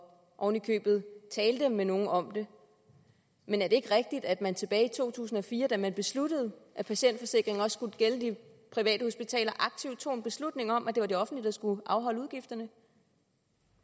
oven i købet talte med nogle om det men er det ikke rigtigt at man tilbage i to tusind og fire da man besluttede at patientforsikringen også skulle gælde de private hospitaler aktivt tog en beslutning om at det var det offentlige der skulle afholde udgifterne